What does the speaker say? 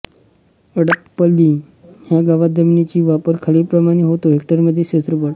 अडपल्ली ह्या गावात जमिनीचा वापर खालीलप्रमाणे होतो हेक्टरमध्ये क्षेत्रफळ